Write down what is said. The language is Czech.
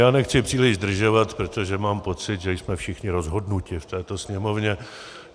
Já nechci příliš zdržovat, protože mám pocit, že jsme všichni rozhodnuti v této Sněmovně.